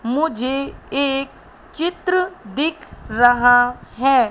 मुझे एक चित्र दिख रहा है।